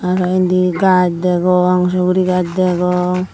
araw indi gaaz degong sugurigaz degong.